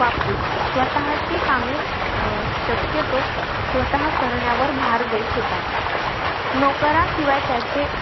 वापरीत. स्वतः ची कामे अं शक्यतो स्वतः करण्यावर भार देत होता. नौकाराशिवाय त्याचे,